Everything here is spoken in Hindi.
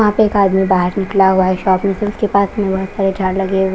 वहां पे एक आदमी बाहर निकला हुआ है शॉप में से उसके पास .